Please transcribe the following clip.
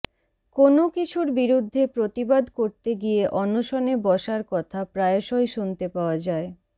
কোনও কিছুর বিরুদ্ধে প্রতিবাদ করতে গিয়ে অনশনে বসার কথা প্রায়শই শুনতে পাওয়া যায়